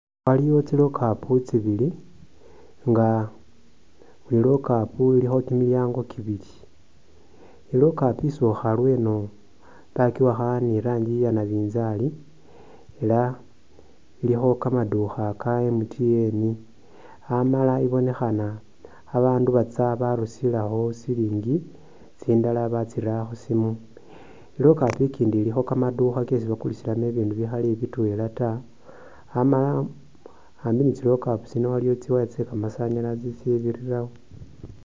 Waliwo tsi lockup tsibili nga buli lockup ilikho kimilyango kibili, i'lockup isokha lweno wakiyakha ni rangi ya nabinzali ela ilikho kamadukha ka MTN ,amala I ibonekhana babandu batsya barusilakho silingi, tsindala batsira khusimu, i'lockup ikindi ilikho kamadukha kesi bakulisilakho bibindu bikhali bitwela taa, amala ambi ni tsi lockup tsino iliwo tsi wire tsye kamasanyalazi tsibirirawo.